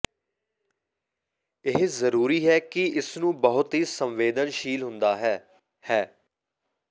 ਇਹ ਜ਼ਰੂਰੀ ਹੈ ਕਿ ਇਸ ਨੂੰ ਬਹੁਤ ਹੀ ਸੰਵੇਦਨਸ਼ੀਲ ਹੁੰਦਾ ਹੈ ਹੈ